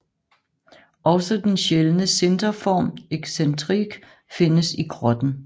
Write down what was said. Også den sjældne sinterform excentrique findes i grotten